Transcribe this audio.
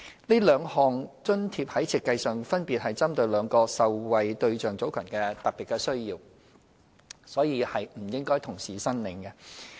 這兩項津貼在設計上分別針對兩個受惠對象組群的特別需要，故此不應同時申領。